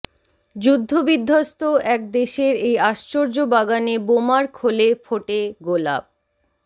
যুদ্ধবিদ্ধস্ত এক দেশের এই আশ্চর্য বাগানে বোমার খোলে ফোটে গোলাপ